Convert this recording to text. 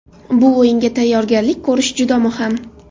Bu o‘yinga tayyorgarlik ko‘rish juda muhim.